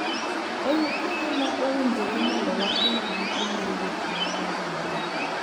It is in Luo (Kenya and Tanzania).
En kinde ma owinjore mondo watim giko mar weche mag oganda.